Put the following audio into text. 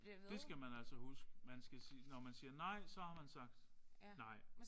Det skal man altså huske man skal sige når man siger nej så har man sagt nej